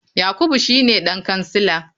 Yakubu shine dan kansila.